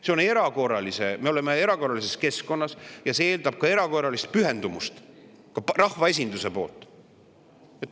See on erakorraline, me oleme erakorralises keskkonnas ja see eeldab erakorralist pühendumust ka rahvaesinduselt.